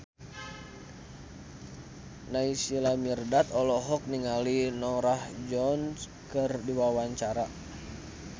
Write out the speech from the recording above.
Naysila Mirdad olohok ningali Norah Jones keur diwawancara